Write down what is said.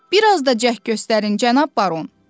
Bir az da cəhd göstərin cənab baron.